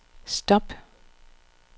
stop